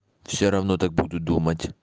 всё равно так буду думать